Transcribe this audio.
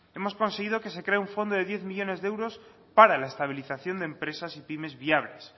hemos conseguido que se cree un fondo de diez millónes de euros para la estabilización de empresas y pymes viables